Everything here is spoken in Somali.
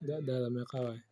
Daadaadha meqa waye?